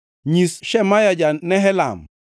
Nyis Shemaya ja-Nehelam,